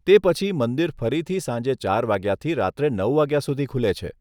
તે પછી, મંદિર ફરીથી સાંજે ચાર વાગ્યાથી રાત્રે નવ વાગ્યા સુધી ખુલે છે.